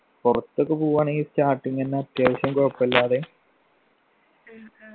പുറത്തൊക്കെ പോവ്വാണെങ്കി starting എന്നെ അത്യാവശ്യം കൊഴപ്പല്ലാതെ